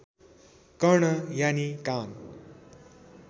कर्ण यानि कान